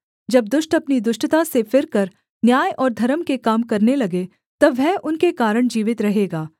जब दुष्ट अपनी दुष्टता से फिरकर न्याय और धर्म के काम करने लगे तब वह उनके कारण जीवित रहेगा